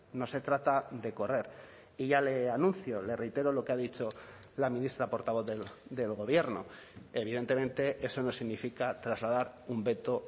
no se trata de correr y ya le anuncio le reitero lo que ha dicho la ministra portavoz del gobierno evidentemente eso no significa trasladar un veto